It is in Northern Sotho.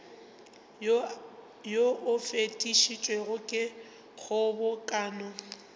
wo o fetišitšwego ke kgobokano